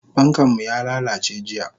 Fankanmu yalalace jiya.